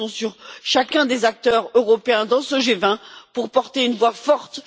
Nous comptons sur chacun des acteurs européens dans ce G20 pour porter une voix forte.